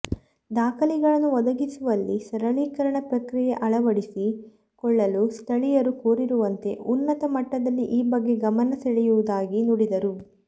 ದಾಖಲೆಗಳನ್ನು ಒದಗಿಸುವಲ್ಲಿ ಸರಳೀಕರಣ ಪ್ರಕ್ರಿಯೆ ಅಳವಡಿಸಿ ಕೊಳ್ಳಲು ಸ್ಥಳೀಯರು ಕೋರಿರುವಂತೆ ಉನ್ನತ ಮಟ್ಟದಲ್ಲಿ ಈ ಬಗ್ಗೆ ಗಮನ ಸೆಳೆಯುವುದಾಗಿ ನುಡಿದರು